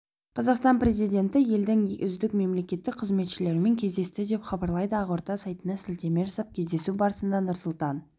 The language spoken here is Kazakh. қазақстан президенті елдің үздік мемлекеттік қызметшілерімен кездесті деп хабарлайды ақорда сайтына сілтеме жасап кездесу барысында нұрсұлтан